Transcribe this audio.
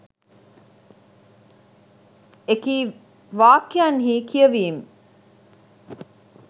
එකී වාක්‍යයන්හි කියවීම්